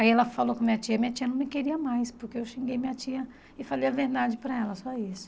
Aí ela falou com minha tia, minha tia não me queria mais, porque eu xinguei minha tia e falei a verdade para ela, só isso.